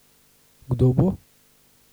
Kdo bo?